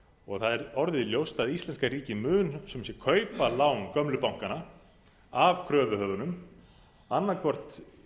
og það er orðið ljóst að íslenska ríkið mun sem sé kaupa lán gömlu bankanna af kröfuhöfunum annaðhvort